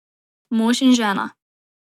Mož in žena.